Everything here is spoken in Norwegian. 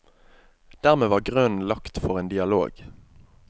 Dermed var grunnen lagt for en dialog.